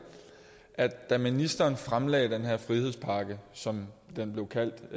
at da ministeren fremlagde den her frihedspakke som den blev kaldt